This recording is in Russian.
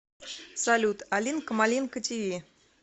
салют алинка малинка ти ви